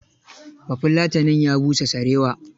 Bafulatanin ya busa sarewa.